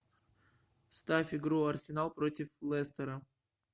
ставь игру арсенал против лестера